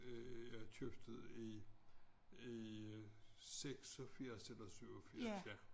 Øh jeg købte det i i 86 eller 87 ja